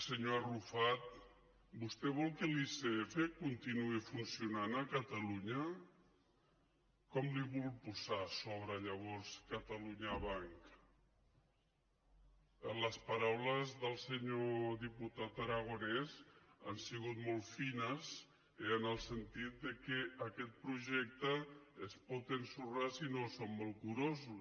senyor arrufat vostè vol que l’icf continuï funcionant a catalunya com li vol posar a sobre llavors catalunya banc les paraules del senyor diputat aragonès han sigut molt fines eh en el sentit que aquest projecte es pot ensorrar si no som molt curosos